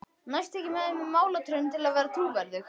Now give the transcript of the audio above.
Næst tek ég með mér málaratrönur til að vera trúverðug.